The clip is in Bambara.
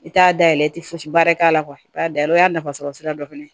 I t'a dayɛlɛ i tɛ fosi baara k'a la i b'a dayɛlɛ o y'a nafasɔrɔsira dɔ fana ye